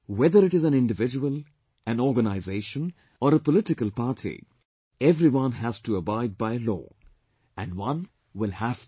Whether it is an individual, an organisation or a political party, everyone has to abide by law and one will have to